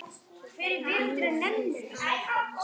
Bíðið aðeins.